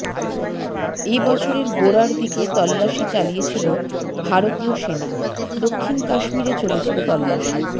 এবছরের গোড়ার দিকে তল্লাশি চালিয়েছিল ভারতীয় সেনা দক্ষিণ কাশ্মীরে চলেছিল তল্লাশি